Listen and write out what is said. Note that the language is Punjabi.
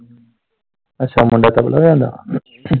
ਅੱਛਾ ਮੁੰਡਾ ਤਬਲਾ ਵਜਾਉਂਦਾ।